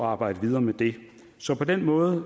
arbejde videre med det så på den måde